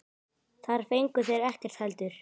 Þar fengu þeir ekkert heldur.